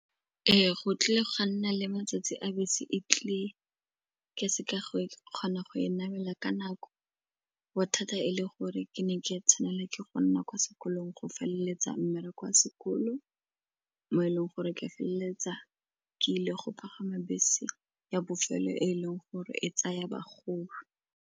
Ee, go tlile go nna le matsatsi a bese e tlile ka seka go e kgona go e namela ka nako bothata e le gore ke ne ke tshwanelwa ke go nna kwa sekolong go feleletsa mmereko a sekolo mo e leng gore ke feleletsa ke ile go pagama bese ya bofelo e leng gore e tsaya bagolo.